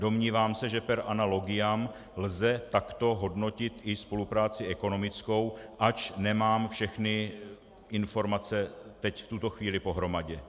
Domnívám se, že per analogiam lze takto hodnotit i spolupráci ekonomickou, ač nemám všechny informace teď v tuto chvíli pohromadě.